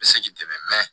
I bɛ se k'i dɛmɛ